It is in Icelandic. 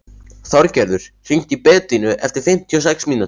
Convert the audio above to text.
Þorgerður, hringdu í Bedínu eftir fimmtíu og sex mínútur.